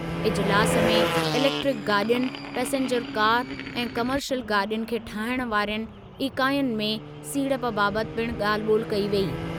इजिलासु में इलेक्ट्रिक गाॾियुनि, passenger car ऐं कमर्शियल गाॾियुनि खे ठाहिणु वारियुनि ईकाईयुनि में सीड़प बाबति पिणु ॻाल्हि ॿोलि कई वेई।